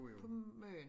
På Møn